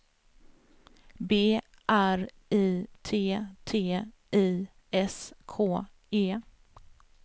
B R I T T I S K E